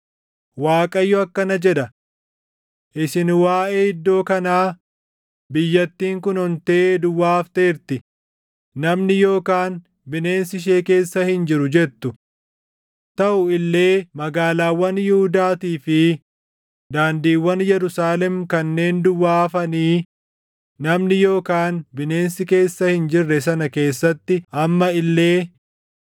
“ Waaqayyo akkana jedha: ‘Isin waaʼee iddoo kanaa, “Biyyattiin kun ontee duwwaa hafteerti; namni yookaan bineensi ishee keessa hin jiru” jettu. Taʼu illee magaalaawwan Yihuudaatii fi daandiiwwan Yerusaalem kanneen duwwaa hafanii namni yookaan bineensi keessa hin jirre sana keessatti amma illee,